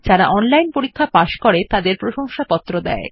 যারা অনলাইন পরীক্ষা পাস করে তাদের প্রশংসাপত্র দেয়